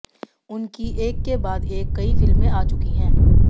उनकी एक के बाद एक कई फिल्में आ चुकी हैं